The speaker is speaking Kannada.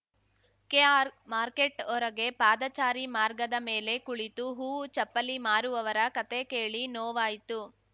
ಕೆಆರ್‌ಮಾರ್ಕೆಟ್ ಹೊರಗೆ ಪಾದಚಾರಿ ಮಾರ್ಗದ ಮೇಲೆ ಕುಳಿತು ಹೂವು ಚಪ್ಪಲಿ ಮಾರುವವರ ಕಥೆ ಕೇಳಿ ನೋವಾಯಿತು